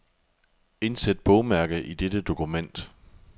Indsæt bogmærke i dette dokument.